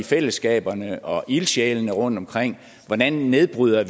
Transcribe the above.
fællesskaberne og ildsjælene rundtomkring hvordan vi nedbryder